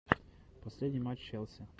последний матч челси